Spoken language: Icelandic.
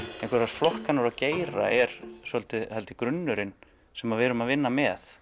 einhverjar flokkanir og geira er svolítið grunnurinn sem við erum að vinna með